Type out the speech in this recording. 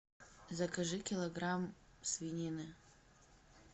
закажи килограмм свинины